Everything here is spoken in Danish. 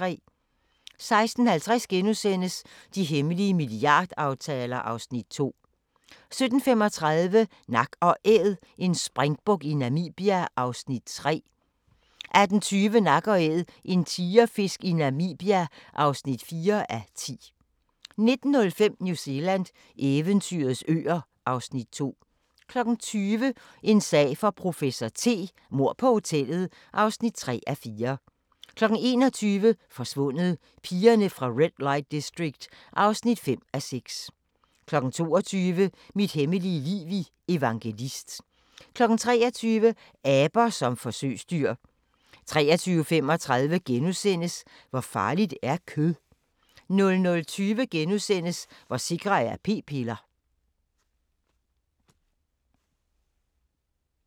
16:50: De hemmelige milliardaftaler (Afs. 2)* 17:35: Nak & Æd – en springbuk i Namibia (3:10) 18:20: Nak & Æd – en tigerfisk i Namibia (4:10) 19:05: New Zealand – eventyrets øer (Afs. 2) 20:00: En sag for professor T: Mord på hotellet (3:4) 21:00: Forsvundet: Pigerne fra Red Light District (5:6) 22:00: Mit hemmelige liv i Evangelist 23:00: Aber som forsøgsdyr 23:35: Hvor farligt er kød? * 00:20: Hvor sikre er p-piller? *